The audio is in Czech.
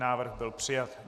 Návrh byl přijat.